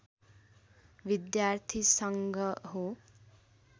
विद्यार्थी सङ्घ हो